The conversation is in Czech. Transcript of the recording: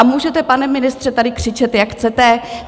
A můžete, pane ministře, tady křičet, jak chcete.